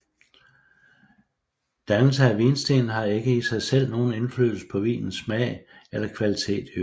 Dannelsen af vinsten har ikke i sig selv nogen indflydelse på vinens smag eller kvalitet i øvrigt